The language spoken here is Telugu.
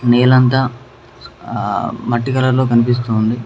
నేలంతా ఆ మట్టి కలర్ లో కనిపిస్తుంది.